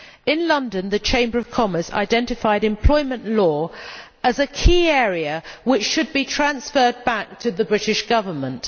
In London, the Chamber of Commerce identified employment law as a key area which should be transferred back to the British Government.